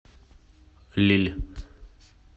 лилль